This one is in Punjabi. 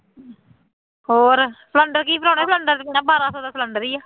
ਹੋਰ ਸਿਲੰਡਰ ਕੀ ਭਰਾਉਣਾ, ਸਿਲੰਡਰ ਤਾਂ ਸੁਣਿਆ ਬਾਰਾਾਂ ਸੌ ਦਾ ਸਿਲੰਡਰ ਹੀ ਹੈ